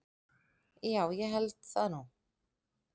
Jú ég held það nú.